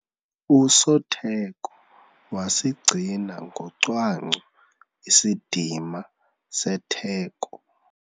Usotheko wasigcina ngocwangco isidima setheko.